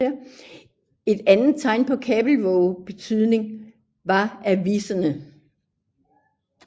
Et andet tegn på Kabelvågs betydning var aviserne